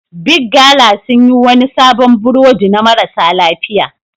Big gala sun yi wani sabon burodi na marasa lafiya.